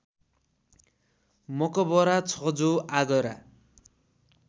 मकबरा छ जो आगरा